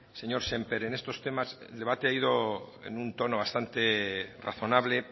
señor sémper en estos temas el debate ha ido en un tono bastante razonable